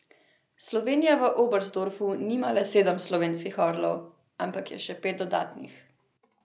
Slovenija v Oberstdorfu nima le sedem slovenskih orlov, ampak je še pet dodatnih.